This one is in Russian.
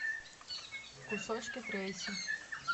кусочки трэйси